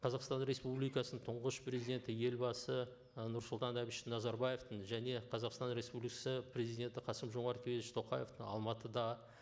қазақстан республикасының тұңғыш президенті елбасы ы нұрсұлтан әбіш назарбаевтың және қазақстан республикасы президенті қасым жомарт кемелевич тоқаевтың алматыда